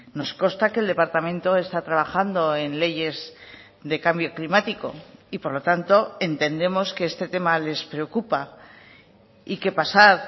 nos consta que el departamento está trabajando en leyes de cambio climático y por lo tanto entendemos que este tema les preocupa y que pasar